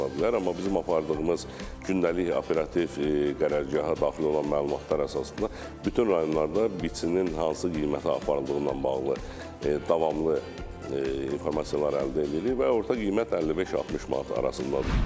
Amma bizim apardığımız gündəlik operativ qərargaha daxil olan məlumatlar əsasında bütün rayonlarda biçinin hansı qiymətə aparıldığı ilə bağlı davamlı informasiyalar əldə edirik və orta qiymət 55-60 manat arasındadır.